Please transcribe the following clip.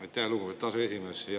Aitäh, lugupeetud aseesimees!